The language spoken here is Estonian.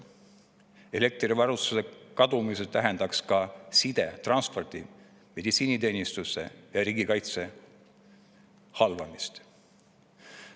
Elektrivarustuse kadumine tähendaks ka side, transpordi, meditsiiniteenistuse ja riigikaitse halvamist.